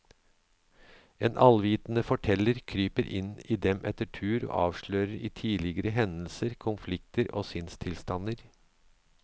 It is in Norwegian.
En allvitende forteller kryper inn i dem etter tur og avslører tidligere hendelser, konflikter og sinnstilstander.